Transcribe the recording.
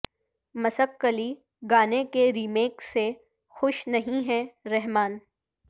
مسک کلی گانے کے ریمیک سے خوش نہیں ہیں رحمان